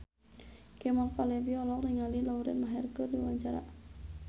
Kemal Palevi olohok ningali Lauren Maher keur diwawancara